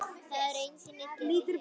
Það eru engin illindi hér.